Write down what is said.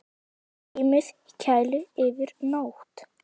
Geymið í kæli yfir nótt.